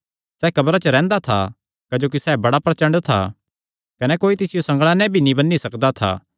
सैह़ कब्रां च रैंह्दा था क्जोकि सैह़ बड़ा प्रचंड था कने कोई तिसियो संगल़ां नैं भी नीं बन्नी सकदा था